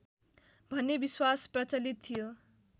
भन्ने विश्वास प्रचलित थियो